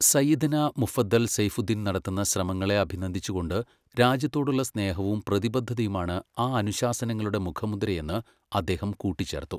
"സയ്യിദ്ന മുഫദ്ദൽ സെയ്യ്ഫുദ്ദീൻ നടത്തുന്ന ശ്രമങ്ങളെ അഭിനന്ദിച്ച്കൊണ്ട് രാജ്യത്തോടുള്ള സ്നേഹവും പ്രതിബദ്ധതയുമാണ് ആ അനുശാസനങ്ങളുടെ മുഖമുദ്രയെന്ന് അദ്ദേഹം കൂട്ടിച്ചേർത്തു."